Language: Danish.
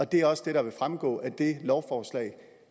det er også det der vil fremgå af det lovforslag